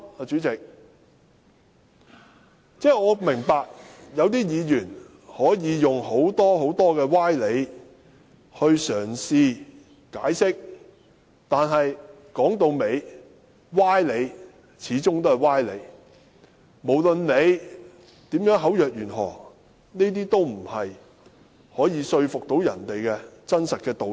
主席，我明白有些議員可以用很多歪理嘗試解釋，但說到底，歪理始終是歪理，無論大家如何口若懸河，這些都不是可以說服別人的真理。